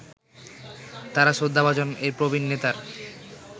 তারা শ্রদ্ধাভাজন এই প্রবীন নেতার